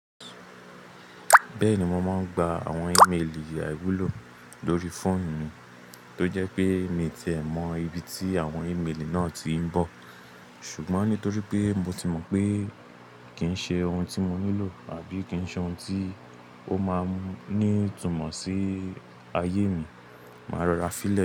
Bẹ́ẹ̀ni, mo máa ń gba àwọn ìmelì àìwúlò lórí fóònù mi tó jẹ́ pé mi ti è mọ́ ibi tí àwọn ìmelì náà ti ń bọ̀. Ṣùgbọ́n nítorí pé mo ti mọ̀ pé kì í ṣe ohun tí mo nílò àbí kì í ṣe ohun tí ó máa ń ní ìtumọ̀ sí ayé mi, màá rọra fílè.